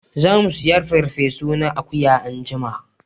Za mu saya farfe su na akuya anjima